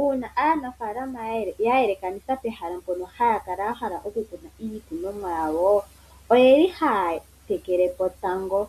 Uuna aanafaalama ya yelekanitha pehala mpono haya kala yahala okukuna iikunonwa yayo ohaya tekelepo tango,